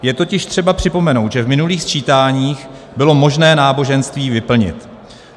Je totiž třeba připomenout, že v minulých sčítáních bylo možné náboženství vyplnit.